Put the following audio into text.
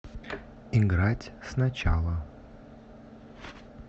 играть сначала